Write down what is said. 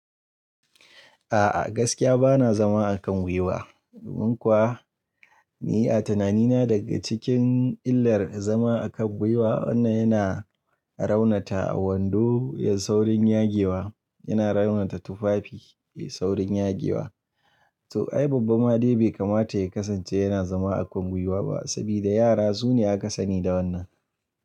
A'a gaskiya bana zama a kan gwiwa. Dan kuwa ni a tunanina daga cikin illar zama a kan gwiwa wannan yana raunata a wando ya saurin yage wa, yana raunata tufafi yai saurin yage wa. To ai babban ma dai bai kamata ya kasance yana zama a kan gwiwa ba saboda yara su ne aka sani da wannan.